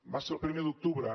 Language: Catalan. va ser el primer d’octubre